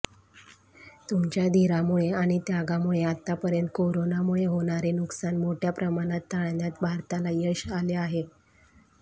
तुमच्या धिरामुळे आणि त्यागामुळे आतापर्यंत कोरोनामुळे होणारे नुकसान मोठ्या प्रमाणात टाळण्यात भारताला यश आले आहे